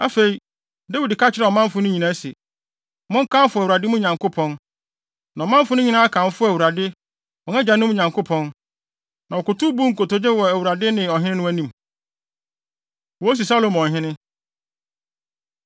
Afei, Dawid ka kyerɛɛ ɔmanfo no nyinaa se, “Monkamfo Awurade, mo Nyankopɔn!” Na ɔmanfo no nyinaa kamfoo Awurade, wɔn agyanom Nyankopɔn, na wɔkotow buu nkotodwe wɔ Awurade ne ɔhene no anim. Wosi Salomo Ɔhene